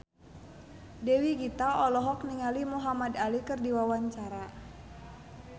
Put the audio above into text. Dewi Gita olohok ningali Muhamad Ali keur diwawancara